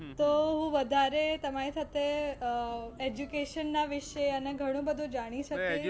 તો હું વધારે તમારી સાથે અમ education વિષે અને ઘણું બધું જાણી શકીશ.